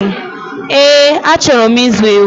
Eẹ́, achọrọ m ịzụ ewu